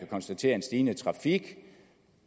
konstatere en stigende trafik